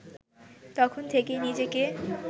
তখন থেকেই নিজেকে